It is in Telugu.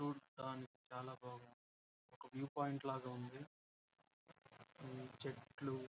చూడ్డానికి చాలా బాగా ఉంది ఒక వ్యూ పాయింట్ లాగ ఉంది ఈ చెట్లు.